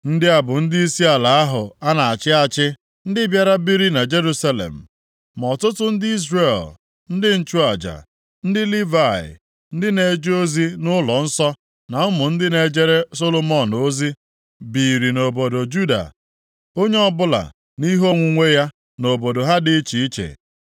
Ndị a bụ ndịisi ala ahụ a na-achị achị ndị bịara biri na Jerusalem (ma ọtụtụ ndị Izrel, ndị nchụaja, ndị Livayị, ndị na-eje ozi nʼụlọnsọ na ụmụ ndị na-ejere Solomọn ozi biiri nʼobodo Juda, onye ọbụla nʼihe onwunwe ya nʼobodo ha dị iche iche.